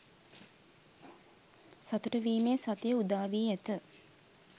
සතු‍ටු වීමේ සතිය උදාවී ඇත.